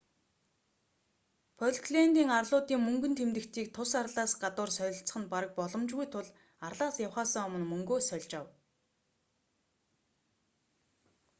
фолклэндийн арлуудын мөнгөн тэмдэгтийг тус арлаас гадуур солилцох нь бараг боломжгүй тул арлаас явахаасаа өмнө мөнгөө сольж ав